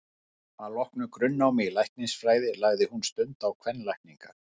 Að loknu grunnnámi í læknisfræði lagði hún stund á kvenlækningar.